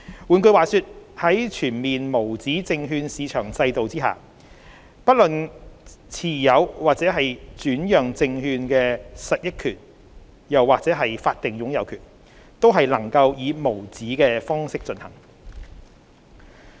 換句話說，在全面無紙證券市場制度下，不論是持有或轉讓證券的實益權益或法定擁有權，均能以無紙的方式進行。